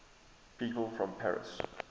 people from paris